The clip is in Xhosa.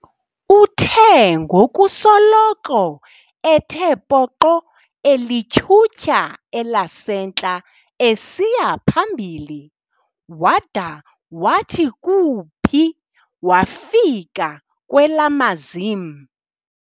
Uthe ngokusoloko ethe poqo elityhutyha, elasentla esiya phambili, wada wathi kuuphi wafika kwelamazim.